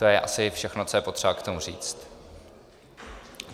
To je asi všechno, co je potřeba k tomu říct.